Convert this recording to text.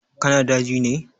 Ka na daji ne?